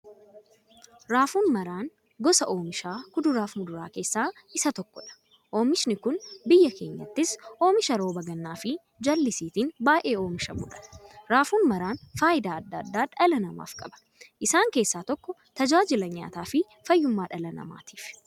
Raafuu maraan gosa oomishaa kuduraaf muduraa keessaa isa tokkodha. Oomishni kun biyya keenyattis oomisha rooba gannaafi jaalisiitin baay'ee oomishamuudha. Raafuu maraan fayidaa adda addaa dhala namaaf qaba. Isaan keessaa tokko; tajaajila nyaataafi fayyummaa dhala namaatif.